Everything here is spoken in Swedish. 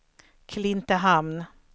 Klintehamn